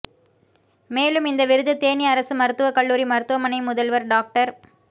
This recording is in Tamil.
மேலும் இந்த விருது தேனி அரசு மருத்துவக்கல்லுாரி மருத்துவமனை முதல்வர் டாக்டர்